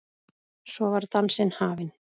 Svo var dansinn hafinn.